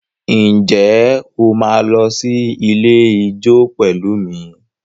Ǹjẹ́ o máa lọ sí ilé ijó pẹ̀lú mi?